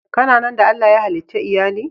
Ka na na da Allah ya halice Iyalli??